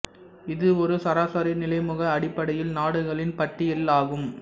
இது ஒரு சராசரி நிலைமுக அடிப்படையில் நாடுகளின் பட்டியல் ஆகும்